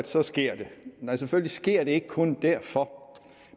så sker det nej selvfølgelig sker det ikke kun derfor